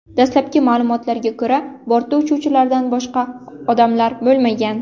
Dastlabki ma’lumotlarga ko‘ra, bortda uchuvchilardan boshqa odamlar bo‘lmagan.